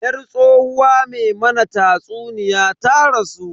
Yar tsohuwa me mana tatsuniya ta rasu.